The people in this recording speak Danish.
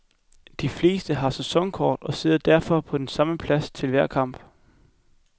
De fleste har sæsonkort og sidder derfor på den samme plads til hver kamp.